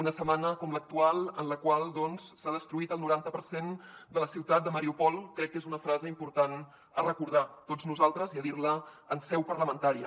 una setmana com l’actual en la qual doncs s’ha destruït el noranta per cent de la ciutat de mariúpol crec que és una frase important a recordar tots nosaltres i a dir la en seu parlamentària